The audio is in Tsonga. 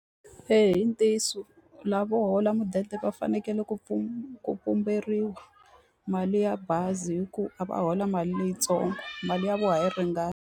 Eya i ntiyiso lava holaka mudende va fanekele ku ku pumberiwa mali ya bazi hikuva a va hola mali leyitsongo mali ya vona yi ringani